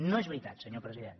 no és veritat senyor president